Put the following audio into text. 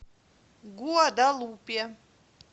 гуадалупе